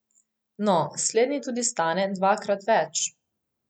No, slednji tudi stane dvakrat več.